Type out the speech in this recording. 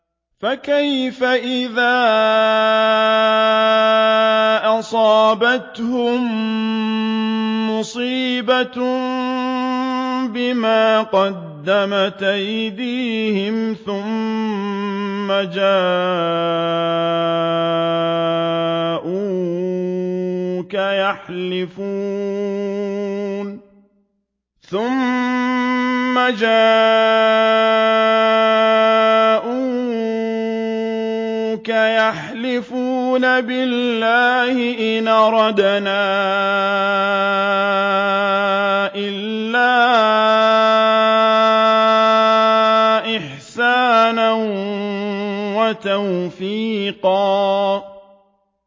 فَكَيْفَ إِذَا أَصَابَتْهُم مُّصِيبَةٌ بِمَا قَدَّمَتْ أَيْدِيهِمْ ثُمَّ جَاءُوكَ يَحْلِفُونَ بِاللَّهِ إِنْ أَرَدْنَا إِلَّا إِحْسَانًا وَتَوْفِيقًا